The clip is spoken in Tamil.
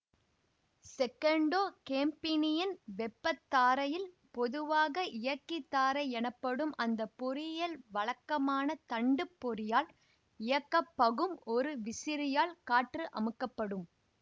செகண்டோ கேம்பினியின் வெப்பத்தாரையில் பொதுவாக இயக்கிதாரை எனப்படும் அந்தப்பொறியில் வழக்கமான தண்டுப் பொறியால் இயக்கப்பகும் ஒரு விசிறியால் காற்று அமுக்கப்படும்